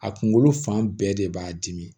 A kunkolo fan bɛɛ de b'a dimi